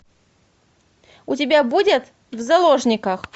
у тебя будет в заложниках